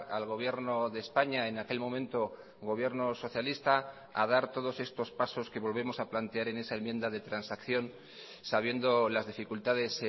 al gobierno de españa en aquel momento gobierno socialista a dar todos estos pasos que volvemos a plantear en esa enmienda de transacción sabiendo las dificultades